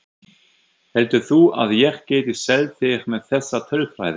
Heldur þú að ég geti selt þig með þessa tölfræði?